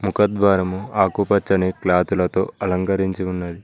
ముఖద్వారము ఆకుపచ్చని క్లాత్ లతో అలంకరించి ఉన్నది.